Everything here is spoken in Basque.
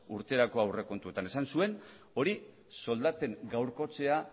urterako aurrekontuetan esan zuen hori soldaten gaurkotzea